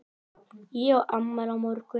Ég á afmæli á morgun.